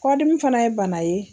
Kɔdimi fana ye bana ye